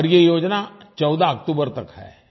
और ये योजना 14 अक्टूबर तक है